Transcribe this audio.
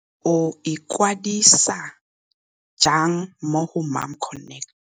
O ikwadisa jang mo go MomConnect.